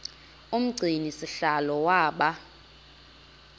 umgcini sihlalo waba